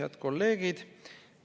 Head kolleegid!